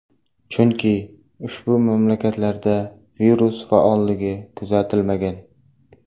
Chunki, ushbu mamlakatlarda virus faolligi kuzatilmagan.